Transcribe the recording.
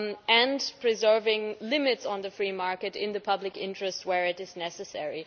and preserving limits on the free market in the public interest where necessary.